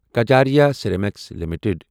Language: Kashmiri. Kajaria ceramics limited